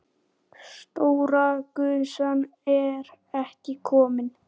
Stóra gusan er ekki komin.